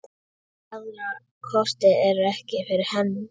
Aðrir kostir ekki fyrir hendi.